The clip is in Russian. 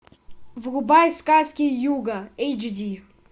врубай сказки юга эйч ди